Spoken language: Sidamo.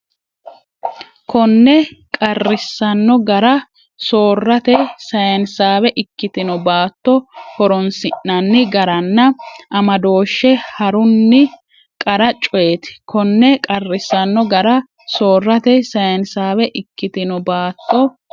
Konne qarrisanno gara soorrate sayinsaawe ikkitino baatto horoonsi’nanni garanna amadooshshe ha’run- qara coyeeti Konne qarrisanno gara soorrate sayinsaawe ikkitino baatto.